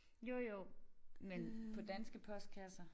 Jo jo men på danske postkasser